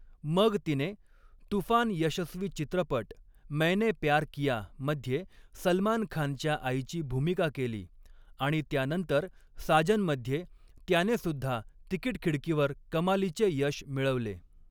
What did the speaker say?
मग तिने तुफान यशस्वी चित्रपट मैंने प्यार किया मध्ये सलमान खानच्या आईची भूमिका केली आणि त्यानंतर साजनमध्ये, त्यानेसुद्धा तिकीट खिडकीवर कमालीचे यश मिळवले.